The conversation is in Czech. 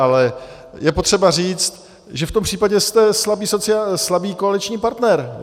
Ale je potřeba říct, že v tom případě jste slabý koaliční partner.